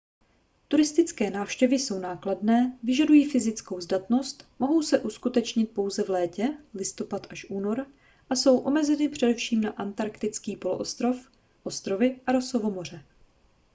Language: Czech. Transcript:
turistické návštěvy jsou nákladné vyžadují fyzickou zdatnost mohou se uskutečnit pouze v létě listopad - únor a jsou omezeny především na antarktický poloostrov ostrovy a rossovo moře